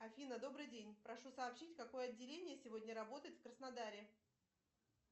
афина добрый день прошу сообщить какое отделение сегодня работает в краснодаре